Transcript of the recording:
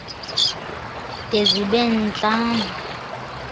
de zibe ntlanu